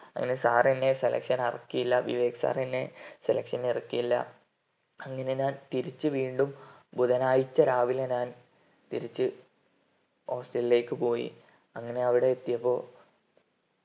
അങ്ങനെ sir എന്നെ selection ആക്കിയില്ല sir എന്നെ selection നു ഇറക്കിയില്ല അങ്ങനെ ഞാൻ തിരിച് വീണ്ടും ബുധനാഴ്ച രാവിലെ ഞാൻ തിരിച് hostel ലേക്ക് പോയി അങ്ങനെ അവിടെ എത്തിയപ്പോ